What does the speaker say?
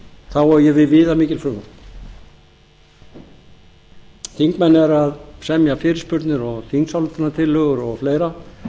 þá á ég við viðamikið frumvarp þingmenn eru að semja fyrirspurnir og þingsályktunartillögur og fleira